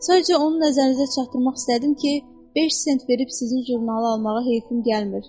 Sadəcə onun nəzərinizə çatdırmaq istədim ki, beş sent verib sizin jurnalı almağa heyfim gəlmir.